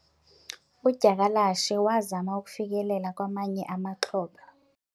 udyakalashe wazama ukufikelela kwamanye amaxhoba